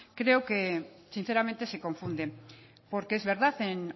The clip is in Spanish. creo que sinceramente se confunde porque es verdad en